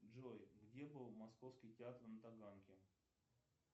джой где был московский театр на таганке